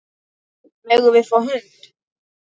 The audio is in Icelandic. Megum við fá hund?